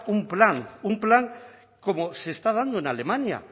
un plan un plan como se está dando en alemania